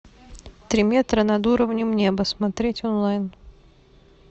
три метра над уровнем неба смотреть онлайн